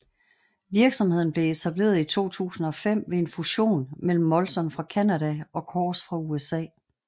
Virksomheden blev etableret i 2005 ved en fusion mellem Molson fra Canada og Coors fra USA